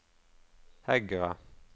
Hegra